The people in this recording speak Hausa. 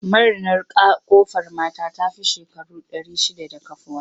Marinar Ƙofar mata ta fi shekaru ɗari shidda da kafuwa.